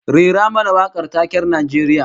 Rera mana wakar taken Najeriya